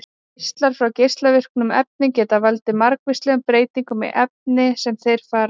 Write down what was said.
Geislar frá geislavirkum efnum geta valdið margvíslegum breytingum í efni sem þeir fara um.